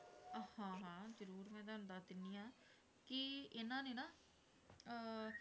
ਹਾਂ ਹਾਂ ਜ਼ਰੂਰ ਮੈਂ ਤੁਹਾਨੂੰ ਦੱਸ ਦਿੰਦੀ ਹਾਂ, ਕਿ ਇਹਨਾਂ ਨੇ ਨਾ ਅਹ